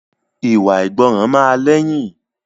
Ìwà àìgbọràn máa lẹ́yìn